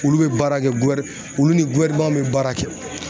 Olu bɛ baara kɛ olu ni bɛ baara kɛ.